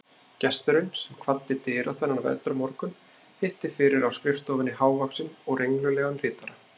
Gesturinn, sem kvaddi dyra þennan vetrarmorgun, hitti fyrir á skrifstofunni hávaxinn og renglulegan ritara